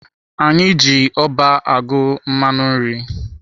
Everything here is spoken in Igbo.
Anyị na-eji ọba agụ mmanụ nri.